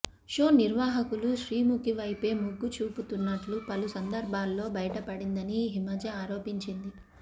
show నిర్వాహకులు శ్రీముఖి వైపే మొగ్గు చూపుతున్నట్లు పలు సందర్భాల్లో బయటపడిందని హిమజ ఆరోపించింది